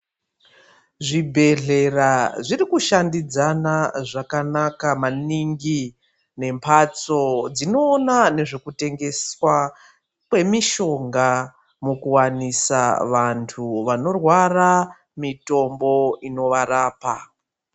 Zvibhedhlera zviri kushandiszana maningi membatso dzinoonekwa nemishinga kuti vantu vakarwara nezvitoro zvinovarapa.